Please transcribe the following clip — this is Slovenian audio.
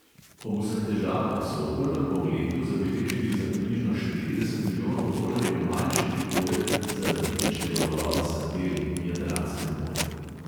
Ob vseh težavah so v prvem polletju zabeležili za približno štirideset milijonov tolarjev manjši prihodek zaradi pičlega ulova sardel v jadranskem morju.